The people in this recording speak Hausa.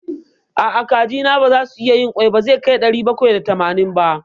A'a, kajina baza su iya yin ƙwai da zai kai ɗari bakwai da tamanin ba.